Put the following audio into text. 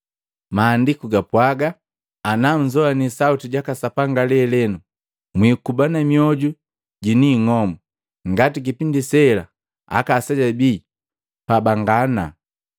Maandiku gapwaga ana: “Ana nnzoani sauti jaka Sapanga lelenu, mwikuba na mioju jini ing'omu ngati kipindi sela aka aseja bii pabangana.”